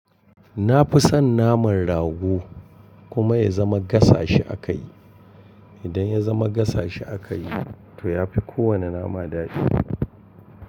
Na fi son naman rago kuma ya zama gasa shi a kayi. Idan ya zama gasa shi a kayi to ya fi ko wane nama daɗi.